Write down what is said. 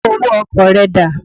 Owó ọkọ̀ rẹ dà?